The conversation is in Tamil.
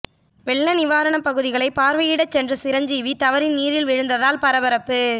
வெள்ளநிவாரணப் பகுதிகளைப் பார்வையிடச் சென்ற சிரஞ்சீவி தவறி நீரில் விழுந்ததால் பரபரப்பு